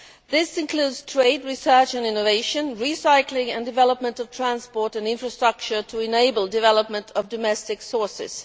This includes trade, research and innovation, recycling and development of transport and infrastructure to enable development of domestic sources.